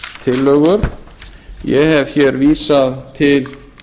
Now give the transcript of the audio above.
breytingartillögur ég hef vísað til